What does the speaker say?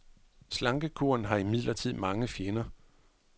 Slankekuren har imidlertid mange fjender.